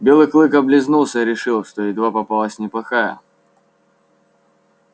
белый клык облизнулся и решил что едва попалась неплохая